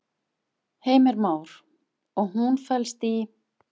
Heimir Már: Og hún felst í?